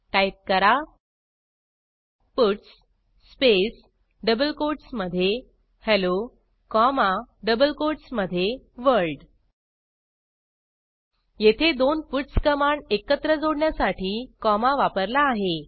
type करा puts space double कोटसमधे hello comma double कोटसमधे वर्ल्ड येथे दोन पट्स कमांड एकत्र जोडण्यासाठी कॉमा वापरला आहे